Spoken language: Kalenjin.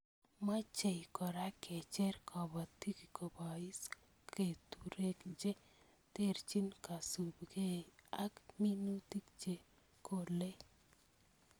Mochei Kora kecher kobotik koboise keturek che terchin kosubkei ak minutik che kolei